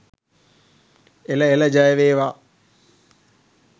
එළ එළ ජය වේවා!.